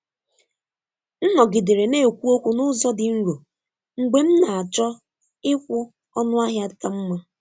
M nọgidere na-ekwu okwu n’ụzọ dị nro mgbe m na-achọ ịkwụ ọnụ ahịa ka mma.